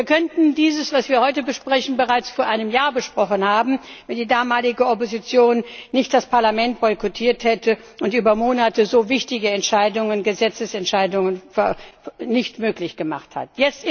Wir könnten das, was wir heute besprechen, bereits vor einem Jahr besprochen haben, wenn die damalige Opposition nicht das Parlament boykottiert und so über Monate wichtige Entscheidungen Gesetzesentscheidungen verhindert hätte.